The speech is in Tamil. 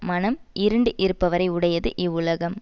மனம் இருண்டு இருப்பவரை உடையது இவ்வுலகம்